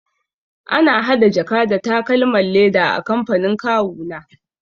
Ana hada jaka da takalman leda a kamfanin kawuna.